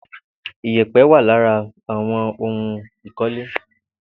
Ìyèpẹ̀ wà lára àwọn ohun ìkọ́lé